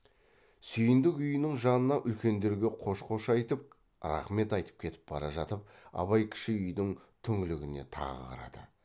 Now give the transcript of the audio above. сүйіндік үйінің жанынан үлкендерге қош қош айтып рақмет айтып кетіп бара жатып абай кіші үйдің түңлігіне тағы қарады